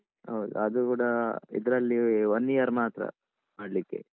ಹೌದು ಅದು ಕೂಡ ಇದ್ರಲ್ಲಿ one year ಮಾತ್ರ ಮಾಡ್ಲಿಕ್ಕೆ.